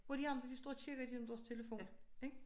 Hvor de andre de står og kigger i gennem deres telefon ik